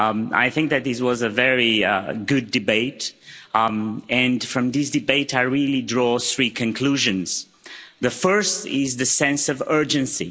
I think that this was a very good debate, and from this debate I really draw three conclusions. The first is the sense of urgency.